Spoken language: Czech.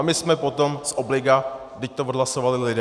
A my jsme potom z obliga, vždyť to odhlasovali lidé.